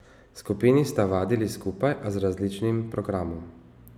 Skupini sta vadili skupaj, a z različnim programom.